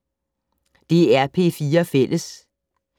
DR P4 Fælles